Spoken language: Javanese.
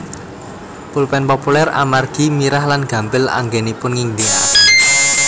Pulpén populér amargi mirah lan gampil anggenipun ngginakaken